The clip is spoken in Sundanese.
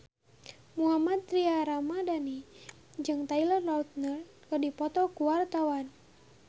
Mohammad Tria Ramadhani jeung Taylor Lautner keur dipoto ku wartawan